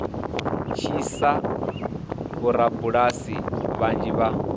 tshi sia vhorabulasi vhanzhi vha